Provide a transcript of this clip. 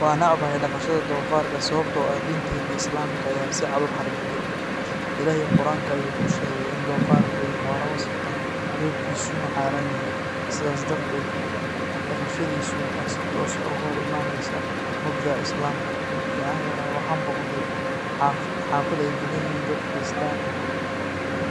Waan necbahay dhaqashada doofaarka sababtoo ah diinteena Islaamka ayaa si cad u xarrimtay. Ilaahay Qur’aanka ayuu ku sheegay in doofaarku yahay xoolo wasakh ah, hilibkiisuna xaaraan yahay. Sidaas darteed, dhaqashadiisu waxay si toos ah uga hor imaanaysaa mabda’a Islaamka. Markii aan yaraay, waxaan booqday xaafad ay dagan yihiin dad Kirishtaan ah.